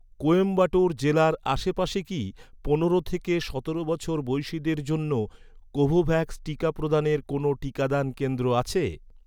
কোয়েম্বাটোর জেলার আশেপাশে কি পনেরো থেকে সতেরো বছর বয়সিদের জন্য কোভোভ্যাক্স টিকা প্রদানের কোনও টিকাদান কেন্দ্র আছে?